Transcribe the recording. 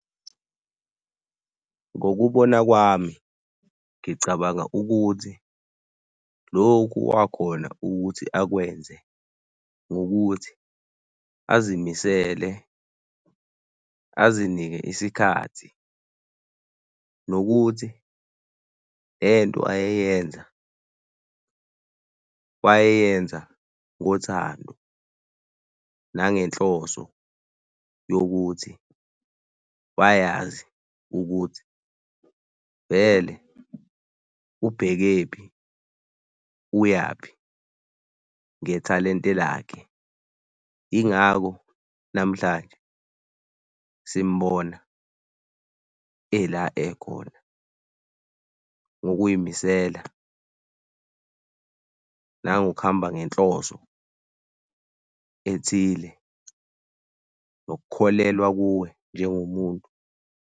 Ngokubona kwami ngicabanga ukuthi lokhu wakhona ukuthi akwenze ngokuthi azimisele, azinike isikhathi nokuthi lento ayeyenza, wayeyenza ngothando nange nhloso yokuthi wayazi ukuthi vele ubhekephi, uyaphi ngethalente lakhe. Yingako namhlanje simbona ela ekhona ngokuzimisela nangokuhamba ngenhloso ethile nokukholelwa kuwe njengomuntu.